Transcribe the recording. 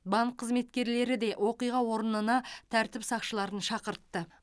банк қызметкерлері де оқиға орнына тәртіп сақшыларын шақыртты